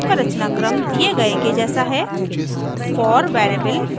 ruby में for loop का रचनाक्रम दिए गए के जैसा है